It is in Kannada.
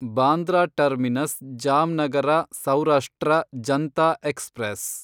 Bandra Terminus Jamnagar Saurashtra Janta express